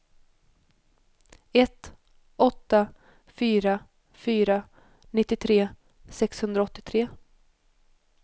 ett åtta fyra fyra nittiotre sexhundraåttiotre